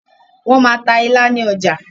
wọ́n máa ta “ilá” ní ọjà